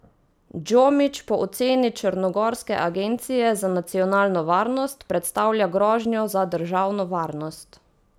Džomić po oceni črnogorske agencije za nacionalno varnost predstavlja grožnjo za državno varnost.